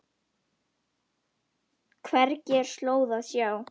Hvergi er slóð að sjá.